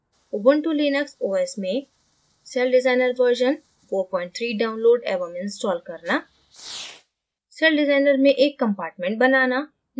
ubuntu linux os में celldesigner version 43 download एवं install करना celldesigner में एक compartment बनाना